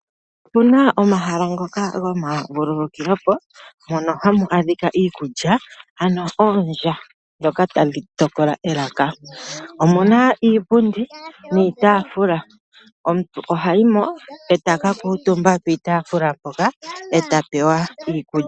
Opu na omahala ngoka gomavululukilo mono hamu adhika iikulya ano oolya ndhoka tadhi tokola elaka. Omu na iipundi niitaafula, omuntu oha yi mo eta ka kuutumba piitaafula mpoka eta pewa iikulya.